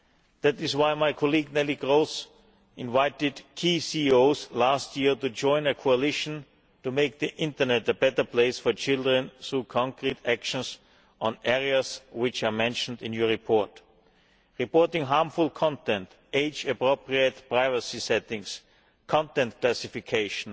That is why my colleague Ms Kroes invited key CEOs last year to join a coalition to make the internet a better place for children through concrete actions on areas which are mentioned in your report reporting harmful content, age appropriate privacy settings, content classification,